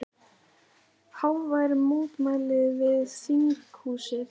Hávær mótmæli við þinghúsið